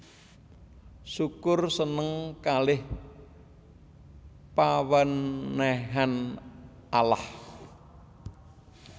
Syukur seneng kaleh pawenehan Allah